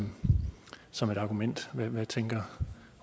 som et argument hvad tænker